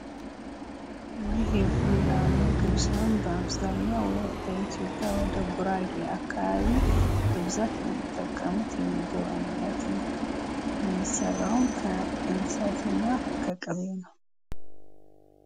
ይህ የፉልና ምግብ ሲሆን በአብዛኛው በኢትዮጵያ ወደጉራጌ አካባቢ በብዛት የሚጠቀሙት የምግብ አይነት ነው። የሚሰራውም ከእንሰትና ከቅቤ ነው።